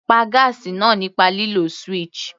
Pá gáásì náà nípa lílo switch.